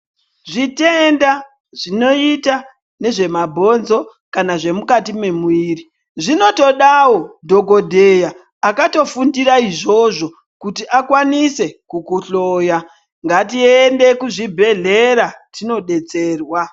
Zvitenda zvinoita nezvemabhonzo kana zvemukati mwemuiri, zvinotodawo dhokodheya akatofundira izvozvo, kuti akwanise kukuhloya. Ngatiende kuzvibhedhlera kuti tinodetserwa.